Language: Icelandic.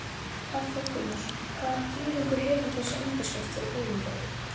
Hafþór Gunnarsson: Hvaða þýðingu hefur þessi undirskrift fyrir Bolungarvík?